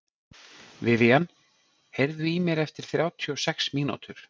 Vivian, heyrðu í mér eftir þrjátíu og sex mínútur.